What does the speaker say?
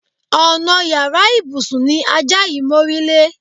Ònà yàrá ìbùsùn ni ajá yìí mórílé.